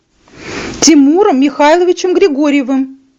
тимуром михайловичем григорьевым